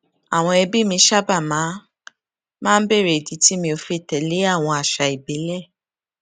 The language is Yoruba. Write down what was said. àwọn ẹbí mi sábà máa ń máa ń béèrè ìdí tí mi ò fi tẹlé àwọn àṣà ìbílẹ